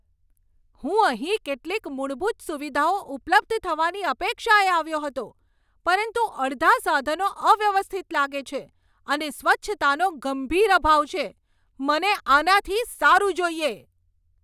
"હું અહીં કેટલીક મૂળભૂત સુવિધાઓ ઉપલબ્ધ થવાની અપેક્ષાએ આવ્યો હતો, પરંતુ અડધા સાધનો અવ્યવસ્થિત લાગે છે, અને સ્વચ્છતાનો ગંભીર અભાવ છે. મને આનાથી સારું જોઈએ."